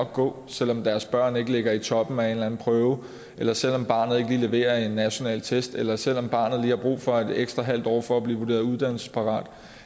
gå selv om deres børn ikke ligger i toppen af en eller anden prøve eller selv om barnet ikke lige leverer på en national test eller selv om barnet lige har brug for et ekstra halvt år for at blive vurderet uddannelsesparat